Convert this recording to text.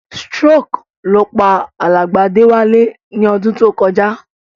Stroke ló pa alàgbà Déwálé ni odún to kojá